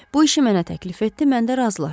Bu işi mənə təklif etdi, mən də razılaşdım.